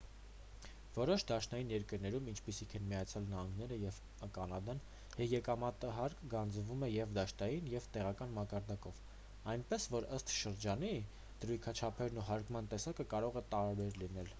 որոշ դաշնային երկրներում ինչպիսիք են միացյալ նահանգները և կանադան եկամտահարկը գանձվում է և դաշնային և տեղական մակարդակով այնպես որ ըստ շրջանի դրույքաչափերն ու հարկման տեսակը կարող է տարբեր լինել